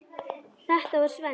Þetta var Svenni.